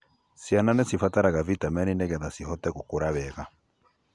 ciana nĩ cibataraga vitamini nĩgetha cihote gũkura wega.